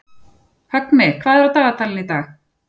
Högni, hvað er á dagatalinu í dag?